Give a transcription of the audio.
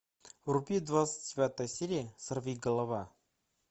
вруби двадцать девятая серия сорвиголова